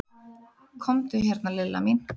Komdu hérna Lilla mín.